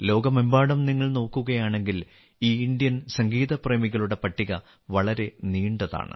ലോകമെമ്പാടും നിങ്ങൾ നോക്കുകയാണെങ്കിൽ ഈ ഇന്ത്യൻ സംഗീത പ്രേമികളുടെ പട്ടിക വളരെ നീണ്ടതാണ്